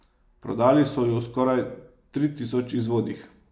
Prodali so ju v skoraj tri tisoč izvodih.